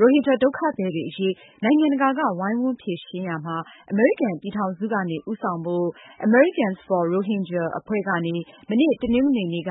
ရိုဟင်ဂျာဒုက္ခသည်တွေအရေး နိုင်ငံတကာက ဝိုင်းဝန်းဖြေရှင်းရာမှာ အမေရိကန်ပြည်ထောင်စုကနေ ဦးဆောင်ဖို့ Americans for Rohingya အဖွဲ့ကနေ မနေ့ တနင်္ဂနွေနေ့က